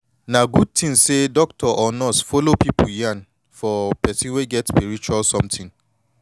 na good thin say doctor or nurse follow pipu yan for person wey get spiritual something